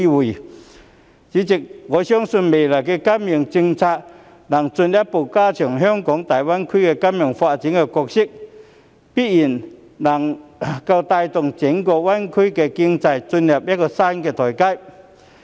代理主席，我相信未來的金融政策能進一步加強香港在大灣區金融發展的角色，並且必然能夠帶動整個灣區經濟進入一個新台階。